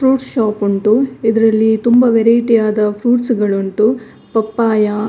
fruit shop ಉಂಟು ಇದರಲ್ಲಿ ತುಂಬಾ ವೆರೈಟಿ ಯಾದ ಫ್ರೂಟ್ ಸ್ ಗಳು ಉಂಟು ಪಪ್ಪಾಯ